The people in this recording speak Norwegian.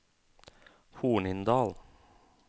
Hornindal